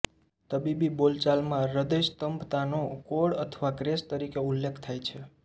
તબીબી બોલચાલમાં હૃદયસ્તંભતાનો કોડ અથવા ક્રેશ તરીકે ઉલ્લેખ થાય છે